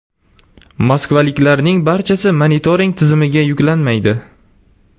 Moskvaliklarning barchasi monitoring tizimiga yuklanmaydi.